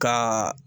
Ka